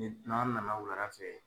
Ne n'an nana wulada fɛ.